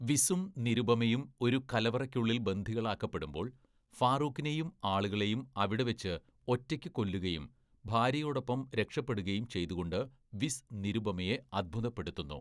വിസും നിരുപമയും ഒരു കലവറയ്ക്കുള്ളിൽ ബന്ദികളാക്കപ്പെടുമ്പോൾ, ഫാറൂഖിനെയും ആളുകളെയും അവിടെവെച്ച് ഒറ്റയ്ക്ക് കൊല്ലുകയും ഭാര്യയോടൊപ്പം രക്ഷപ്പെടുകയും ചെയ്തുകൊണ്ട് വിസ് നിരുപമയെ അത്ഭുതപ്പെടുത്തുന്നു.